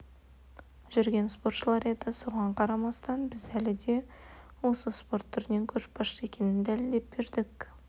жүрген спортшылар еді соған қарамастан біз әлі де осы спорт түрінен көшбасшы екенін дәлелдеп бердік